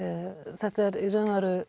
þetta er í raun og veru